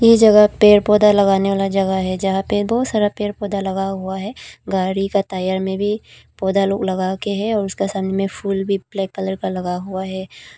ये जगह पेड़ पौधा लगाने वाला जगह है जहां पे बहोत सारा पेड़ पौधा लगा हुआ है गाड़ी का टायर में भी पौधा लोग लगा के है और उसका सामने में फूल भी ब्लैक कलर का लगा हुआ है।